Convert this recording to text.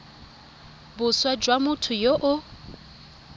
boswa jwa motho yo o